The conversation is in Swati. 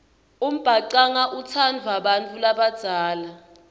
umbhacanga utsandvwa bantfu labadzala